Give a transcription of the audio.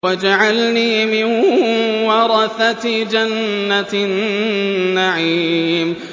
وَاجْعَلْنِي مِن وَرَثَةِ جَنَّةِ النَّعِيمِ